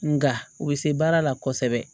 Nga u bɛ se baara la kosɛbɛ